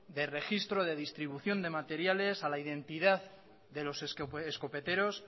de registro de redistribución de materiales a la identidad de los escopeteros